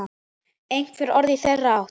Einhver orð í þeirra átt?